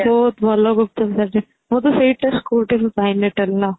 ବହୁତ ଭଲ ଗୁପ୍ଚୁପ ସେଇଠି ବୋଧେ ସେଇଟା schoolଟା ଭି